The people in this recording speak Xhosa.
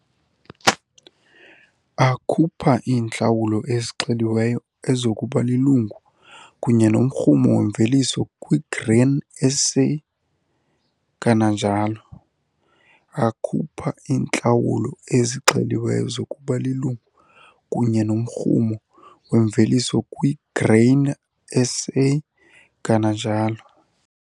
Akhupha iintlawulo ezixeliweyo ezokuba lilungu kunye nomrhumo wemveliso kwiGrain SA, kananjalo. Akhupha iintlawulo ezixeliweyo zokuba lilungu kunye nomrhumo wemveliso kwiGrain SA, kananjalo.